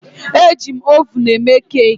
Ejim ovunụ eme keeki